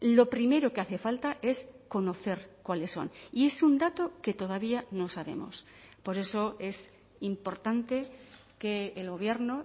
lo primero que hace falta es conocer cuáles son y es un dato que todavía no sabemos por eso es importante que el gobierno